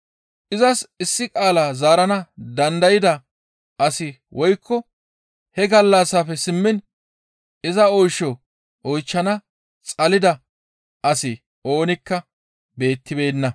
Izas issi qaala zaarana dandayda asi woykko he gallassafe simmiin iza oysho oychchana xalida asi oonikka beettibeenna.